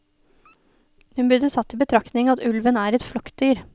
Hun burde tatt i betraktning at ulven er et flokkdyr.